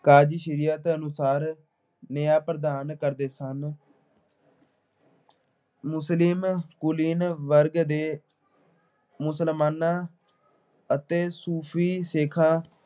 ਦੇ ਅਨੁਸਾਰ ਨਿਆਂ ਪ੍ਰਦਾਨ ਕਰਦੇ ਸਨ। ਮੁਸਲਿਮ ਕੁਲੀਨ ਵਰਗ ਦੇ ਮੁਸਲਮਾਨਾਂ ਅਤੇ ਸੂਫ਼ੀ ਸੇਖਾਂ